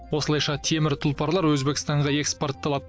осылайша темір тұлпарлар өзбекстанға экспортталады